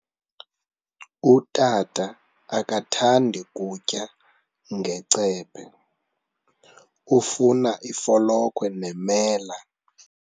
Utata akathandi kutya ngecephe, ufuna ifolokhwe nemela.